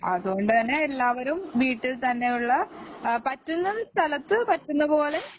അതുകൊണ്ട് തന്നെ എല്ലാവരും വീട്ടിൽത്തന്നെ ഉള്ള പറ്റുന്ന സ്ഥലത്തു പറ്റുന്നപോലെ